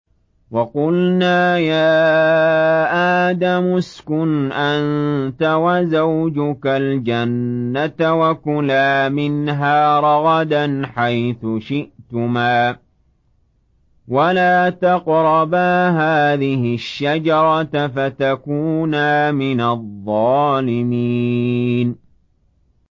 وَقُلْنَا يَا آدَمُ اسْكُنْ أَنتَ وَزَوْجُكَ الْجَنَّةَ وَكُلَا مِنْهَا رَغَدًا حَيْثُ شِئْتُمَا وَلَا تَقْرَبَا هَٰذِهِ الشَّجَرَةَ فَتَكُونَا مِنَ الظَّالِمِينَ